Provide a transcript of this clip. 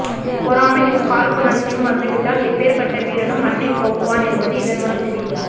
பொறாமையும் காழ்புணர்ச்சியும் வந்துவிட்டால் எப்பேர் பட்ட வீரனும் மண்ணை கவ்வுவான் என்பது இதன் மூலம் தெரிகிறது